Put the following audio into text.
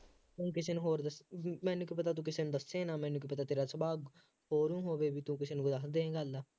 ਤੂੰ ਕਿਸੇ ਨੂੰ ਹੋਰ ਦੱਸ ਤੂੰ ਮੈਨੂੰ ਕੀ ਪਤਾ ਤੂੰ ਕਿਸੇ ਨੂੰ ਦੱਸੇ ਨਾ, ਮੈਨੂੰ ਕੀ ਪਤਾ ਤੇਰਾ ਸੁਭਾਅ ਹੋਰ ਵੀ ਹੋਵੇ, ਬਈ ਤੂੰ ਕਿਸੇ ਨੂੰ ਦੱਸ ਦੇ ਗਾਂ ਗੱਲ ਆਹ